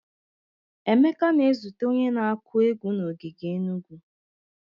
Emeka na-ezute onye na-akụ egwu na ogige Enugu.